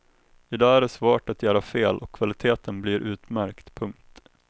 I dag är det svårt att göra fel och kvaliteten blir utmärkt. punkt